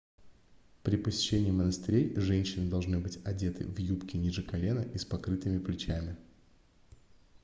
при посещении монастырей женщины должны быть одеты в юбки ниже колена и с покрытыми плечами